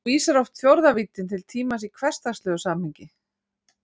Þá vísar oft fjórða víddin til tímans í hversdagslegu samhengi.